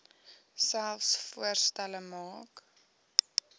selfs voorstelle maak